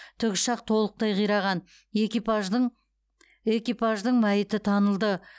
тікұшақ толықтай қираған экипаждың экипаждың мәйіті танылды